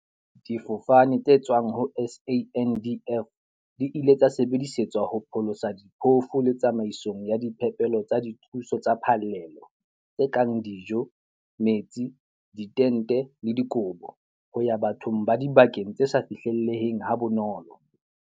"Difofane tse tswang ho SANDF di ile tsa sebedisetswa ho pholosa diphofu le tsamaisong ya diphepelo tsa dithuso tsa phallelo- tse kang dijo, metsi, ditente le dikobo - ho ya bathong ba dibakeng tse sa fihlelleheng ha bonolo."